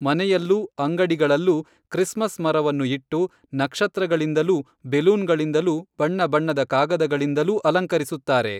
ಮನೆಯಲ್ಲೂ ಅಂಗಡಿಗಳಲ್ಲೂ ಕ್ರಿಸ್ಮಸ್‌ ಮರವನ್ನು ಇಟ್ಟು ನಕ್ಷತ್ರಗಳಿಂದಲೂ ಬೆಲೂನ್‌ಗಳಿಂದಲೂ ಬಣ್ಣ ಬಣ್ಣದ ಕಾಗದಗಳಿಂದಲೂ ಅಲಂಕರಿಸುತ್ತಾರೆ